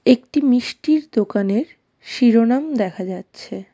একটি মিষ্টির দোকানের শিরোনাম দেখা যাচ্ছে।